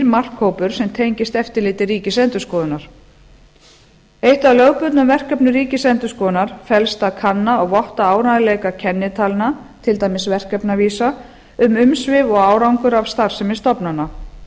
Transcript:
markhópur sem tengist eftirliti ríkisendurskoðunar eitt af lögbundnum verkefnum ríkisendurskoðunar felst í að kanna og votta áreiðanleika kennitalna til dæmis verkefnavísa um umsvif og árangur af starfsemi stofnana